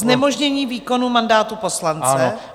Znemožnění výkonu mandátu poslance?